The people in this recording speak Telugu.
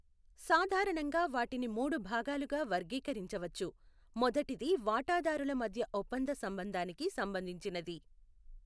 సాధారణంగా వాటిని మూడు భాగాలుగా వర్గీకరించవచ్చు. మొదటిది వాటాదారుల మధ్య ఒప్పంద సంబంధానికు సంబంధించింది.